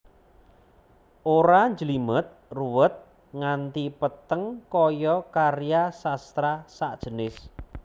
Ora njlimet ruwet nganti peteng kaya karya sastra sajenis